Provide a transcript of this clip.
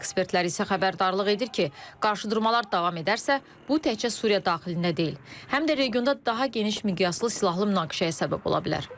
Ekspertlər isə xəbərdarlıq edir ki, qarşıdurmalar davam edərsə, bu təkcə Suriya daxilində deyil, həm də regionda daha geniş miqyaslı silahlı münaqişəyə səbəb ola bilər.